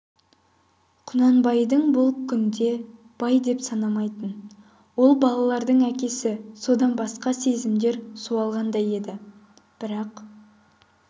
құнанбайды бұл күнде бай деп те санамайтын ол балаларының әкесі содан басқа сезімдер суалғандай еді бірақ